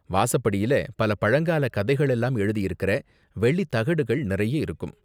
வாசப்படியில பல பழங்கால கதைகள் எல்லாம் எழுதியிருக்கற வெள்ளி தகடுகள் நிறைய இருக்கும்.